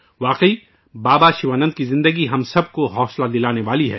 واقعی، بابا شیوانند کی زندگی ہم سب کے لئے ایک تحریک ہے